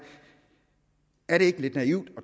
er det ikke lidt naivt at